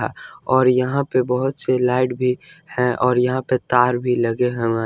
और यहां पे बहुत सी लाइट भी हैं और यहां पे तार भी लगे हुए हैं।